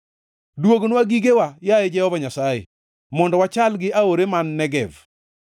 Duognwa gigewa, yaye Jehova Nyasaye, mondo wachal gi aore man Negev.